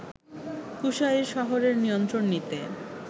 কুশাইর শহরের নিয়ন্ত্রণ নিতে